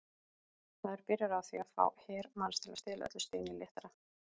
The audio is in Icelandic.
Maður byrjar á því að fá her manns til að stela öllu steini léttara.